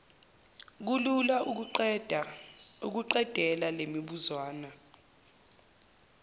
kulula ukuqedela lemibuzwana